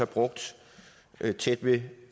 brugt tæt ved